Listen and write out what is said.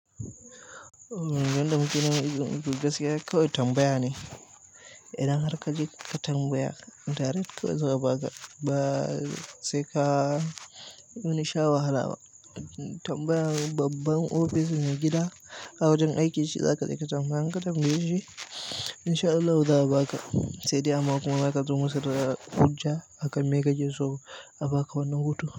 Yanda muke neman izinin gaskiya haka gaskiya tambaya ne, idan har ka je ka tambaya direct kawai za a baka, ba, sai ka wani sha wahala ba. Tambaya babban ofis na gida, awajan aiki shi za ka je ka tambaya. In ka tambaye shi in sha Allahu ya za a baka, sai dai amma kuma za ka zo masu da hujja akan me kake so a bka wannan hutun.